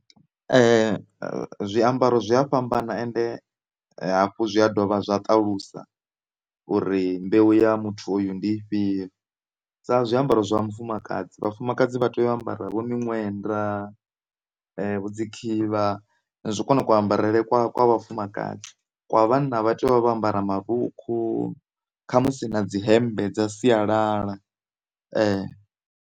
Zwiambaro zwi a fhambana ende hafhu zwi a dovha zwa ṱalusa uri mbeu ya muthu uyu ndi i fhio, sa zwiambaro zwa mufumakadzi, vhafumakadzi vha tea u ambara vho miṅwenda vho dzikhivha ndi kwone kuambarele kwa vhafumakadzi. Kwa vhanna vha tea u vha vho ambara marukhu khamusi na dzi hemmbe dza sialala .